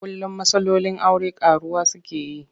Kullum matsalolin aure ƙaruwa suke yi.